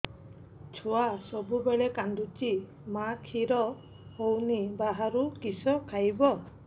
ଛୁଆ ସବୁବେଳେ କାନ୍ଦୁଚି ମା ଖିର ହଉନି ବାହାରୁ କିଷ ଖାଇବ